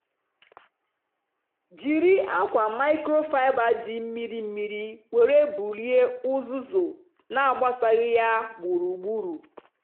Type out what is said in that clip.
jiri akwa microfiber dị mmiri mmiri were bulie uzuzu na-agbasaghị ya gburugburu.